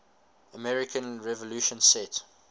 american revolution set